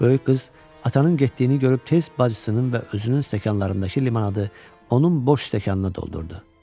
Böyük qız, atanın getdiyini görüb tez bacısının və özünün stəkanlarındakı limanadı onun boş stəkanına doldurdu.